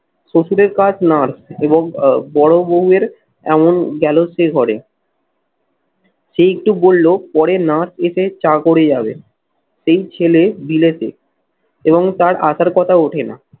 শশুরের কাজ nurse এবং আহ বড়বৌ এর এমন সেই তো বলল, পরে nurse এতে চা করে যাবে সেই ছেলে বিলেতে এবং তার আসার কথা ওঠে না।